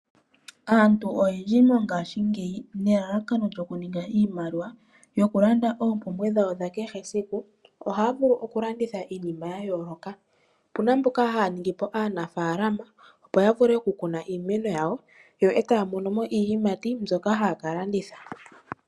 Aantu oyendji mongashingeyi nelalakano lyokuninga iimaliwa yokulanda oopumbwe dhawo dha kehe esiku, oha ya vulu okulanditha iinima ya yooloka. Opena mboka haya ningi aanafalama opo ya vule okukuna iimeno yawo, yo etaya mono mo iiyimati mbyoka haya ka landitha.